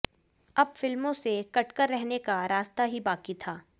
अब फिल्मों से कटकर रहने का रास्ता ही बाक़ी था